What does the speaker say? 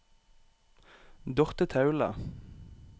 Dorthe Taule